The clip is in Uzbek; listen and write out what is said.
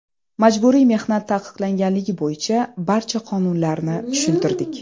Majburiy mehnat taqiqlanganligi bo‘yicha barcha qonunlarni tushuntirdik.